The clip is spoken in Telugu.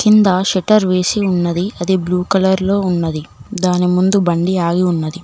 ఇంద షట్టర్ వేసి ఉన్నది అది బ్లూ కలర్ లో ఉన్నది దాని ముందు బండి ఆగి ఉన్నది.